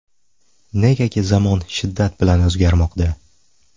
Negaki zamon shiddat bilan o‘zgarmoqda.